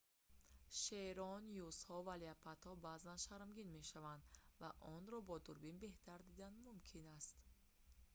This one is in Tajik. шерон юзҳо ва леопардҳо баъзан шармгин мешаванд ва онҳоро бо дурбин беҳтар дидан мумкин аст